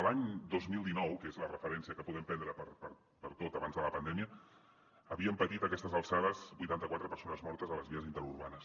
l’any dos mil dinou que és la referència que podem prendre per a tot abans de la pandèmia havíem patit a aquestes alçades vuitanta quatre persones mortes a les vies interurbanes